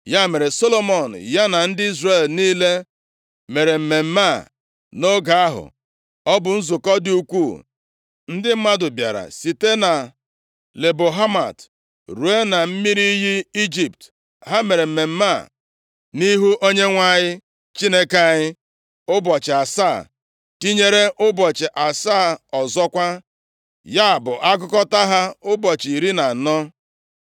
Ya mere, Solomọn ya na ndị Izrel niile mere mmemme a nʼoge ahụ, ọ bụ nzukọ dị ukwuu. Ndị mmadụ bịara sitere na Lebo Hamat ruo na mmiri iyi Ijipt. Ha mere mmemme a nʼihu Onyenwe anyị Chineke anyị, ụbọchị asaa tinyere ụbọchị asaa ọzọkwa, ya bụ agụkọta ha ụbọchị iri na anọ.